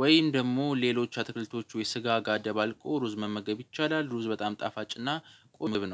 ወይም ደግሞ ሌሎች አትክልቶቹ የስጋ ጋ ደባልቆ ሩዝ መመገብ ይቻላል። ሩዝ በጣም ጣፋጭና ቁምብ ነው።